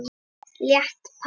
Létt par.